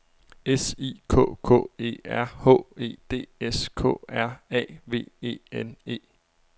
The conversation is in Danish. S I K K E R H E D S K R A V E N E